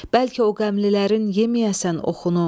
Bəlkə o qəmlilərin yeməyəsən oxunu.